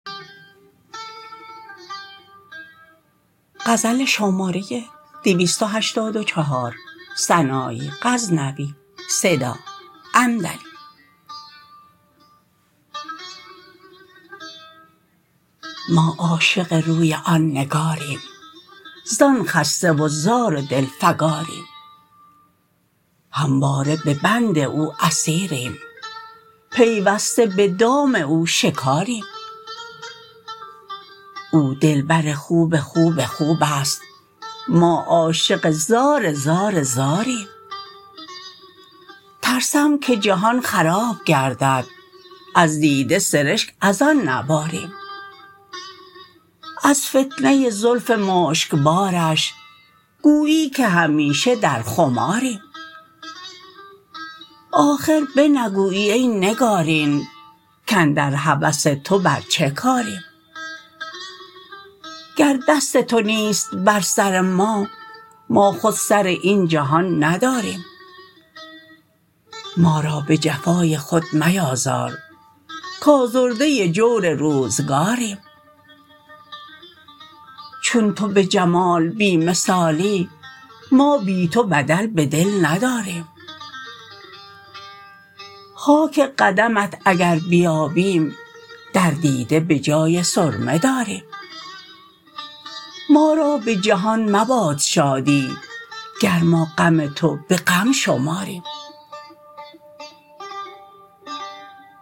ما عاشق روی آن نگاریم زان خسته و زار و دلفگاریم همواره به بند او اسیریم پیوسته به دام او شکاریم او دلبر خوب خوب خوبست ما عاشق زار زار زاریم ترسم که جهان خراب گردد از دیده سرشگ از آن نباریم از فتنه زلف مشکبارش گویی که همیشه در خماریم آخر بنگویی ای نگارین کاندر هوس تو بر چه کاریم گر دست تو نیست بر سر ما ما خود سر این جهان نداریم ما را به جفای خود میازار کازرده جور روزگاریم چون تو به جمال بی مثالی ما بی تو بدل به دل نداریم خاک قدمت اگر بیابیم در دیده به جای سرمه داریم ما را به جهان مباد شادی گر ما غم تو به غم شماریم